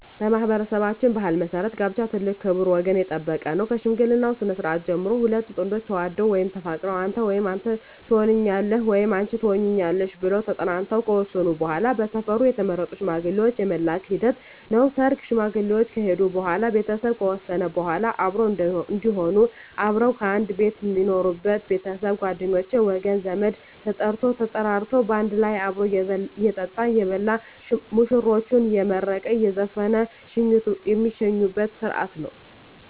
በማኅበረሠባችን ባሕል መሠረት ጋብቻ ትልቅ ክብር ወገን የጠበቀ ነው ከሽምግልናው ስነስርዓት ስንጀምር ሁለት ጥንዶች ተዋደው ወይም ተፋቅረው አንተ ወይም አንተ ተሆነኛለህ ወይም አንች ትሆኝኛለሽ ብለው ተጠናንተው ከወሰኑ በዋላ በሰፈሩ የተመረጡ ሽማግሌዎች የመላክ ሂደት ነው ሰርግ ሽማግሌዎች ከሄዱ በዋላ ቤተሰብ ከወሰነ በዋላ አብሮ እዴሆኑ አብረው ከአንድ ቤት ሜኖሩበች ቤተሰብ ጓደኞቼ ወገን ዘመድ ተጠርቶ ተጠራርቶ ባንድ ላይ አብሮ እየጠጣ እየበላ ሙሽራዎችን አየመረቀ እየዘፈነ ሜሸኝበት ስረሀት ነው